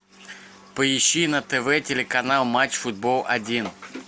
поищи на тв телеканал матч футбол один